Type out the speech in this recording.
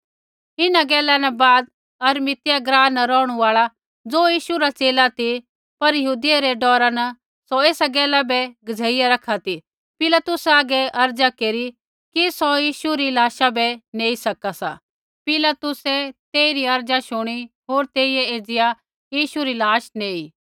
इन्हां गैला न बाद अरिमतियाह ग्राँ रा रौहणु आल़ा ज़ो यीशु रा च़ेला ती पर यहूदियै रै डौरा न सौ ऐसा गैला बै गज़ेईया रखा ती पिलातुस हागै अर्ज़ा केरी किकि सौ यीशु री लाशा बै नैंई सका सा पिलातुस तेइरी शूणी अर्ज़ा होर तेइयै एज़िया यीशु री लाश नेयी